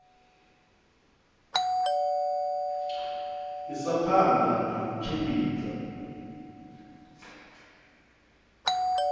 isa phanda na u tshimbidza